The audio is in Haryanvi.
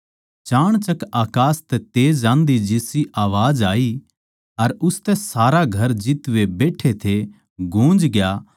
चाणचक अकास तै घणी आँधी जिसा हल्कासा शब्द होया अर उसतै सारा घर जित वे बैट्ठे थे गूँजग्या